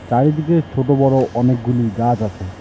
চারিদিকে ছোট বড় অনেকগুলি গাছ আছে।